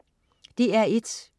DR1: